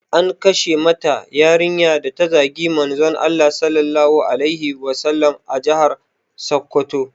An kashe wata yarinya da ta zagi Manzon Allah Sallallahu alaihi Wasallama a jihar Sokoto